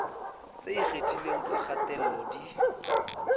tse ikgethileng tsa kgatello di